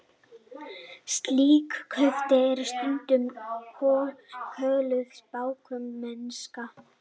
Slík kaup eru stundum kölluð spákaupmennska.